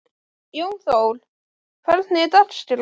Jónþór, hvernig er dagskráin?